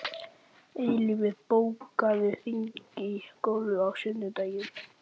Eilífur, bókaðu hring í golf á sunnudaginn.